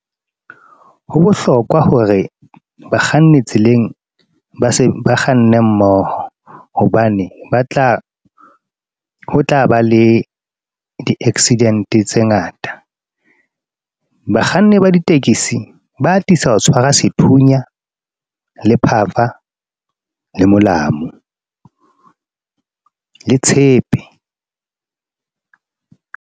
Ho bohlokwa hore bakganni tseleng ba ba kganne mmoho, hobane ho tla ba le di-accident tse ngata. Bakganni ba ditekesi ba atisa ho tshwara sethunya, le phafa, le molamu, le tshepe.